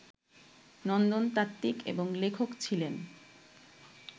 নন্দনতাত্বিক এবং লেখক ছিলেন